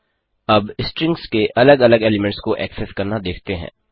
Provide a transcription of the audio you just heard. अब स्ट्रिंग्स के अलग अलग एलीमेंट्स को एक्सेस करना देखते हैं